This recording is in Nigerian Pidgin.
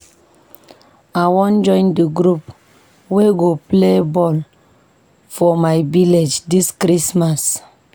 I wan join di group wey go play ball for my village dis Christmas.